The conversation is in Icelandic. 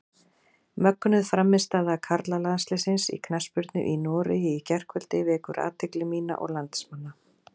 Mögnuð frammistaða karlalandsliðsins í knattspyrnu í Noregi í gærkvöldi vekur athygli mína og landsmanna.